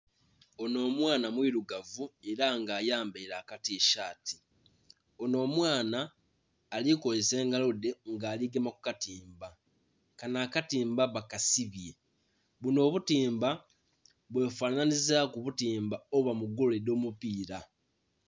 Onho omwana mwilugavu ela nga ayambaile akatisaati onho omwaana ali kozesa engalo dhe nga ali gema ku katimba kanho akatimba bakasibye bunho obutiimba bwefanhanhilizaku obutimba obuba mu goolo edhomupiila.